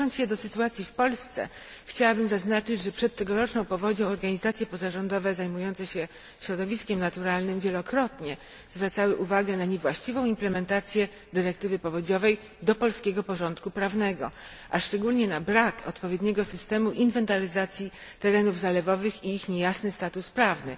Odnosząc się do sytuacji w Polsce chciałabym zaznaczyć, że przed tegoroczną powodzią organizacje pozarządowe zajmujące się środowiskiem naturalnym wielokrotnie zwracały uwagę na niewłaściwą implementację dyrektywy powodziowej do polskiego porządku prawnego, a szczególnie na brak odpowiedniego systemu inwentaryzacji terenów zalewowych i ich niejasny status prawny.